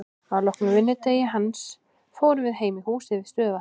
Að loknum vinnudegi hans fórum við heim í húsið við stöðuvatnið.